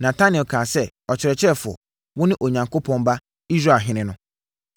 Natanael kaa sɛ, “Ɔkyerɛkyerɛfoɔ, wone Onyankopɔn Ba, Israelhene no!”